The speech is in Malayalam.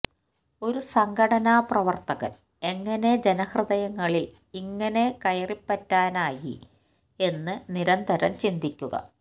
ഒരു സംഘടനാ പ്രവര്ത്തകന് എങ്ങനെ ജനഹൃദയങ്ങളില് ഇങ്ങനെ കയറിപ്പറ്റാനായി എന്ന് നിരന്തരം ചിന്തിക്കുക